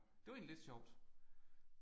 Det var egentlig lidt sjovt